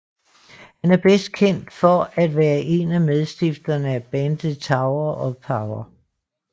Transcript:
Han er bedst kendt for at være en af medstifterne af bandet Tower of Power